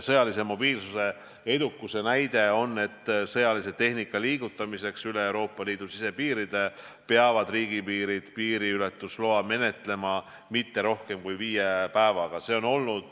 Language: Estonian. Sõjalise mobiilsuse edukuse näide on, et sõjatehnika liigutamiseks üle Euroopa Liidu sisepiiride peavad riigid piiriületusloa menetlema kõige rohkem viie päevaga.